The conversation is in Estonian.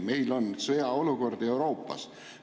Meil on sõjaolukord Euroopas.